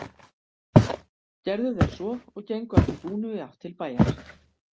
Gerðu þeir svo og gengu að því búnu í átt til bæjar.